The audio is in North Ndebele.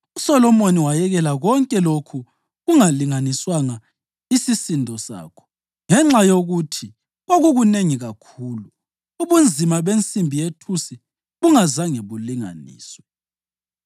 USolomoni wayekela konke lokhu kungalinganiswanga isisindo sakho, ngenxa yokuthi kwakukunengi kakhulu; ubunzima bensimbi yethusi bungazanga bulinganiswe.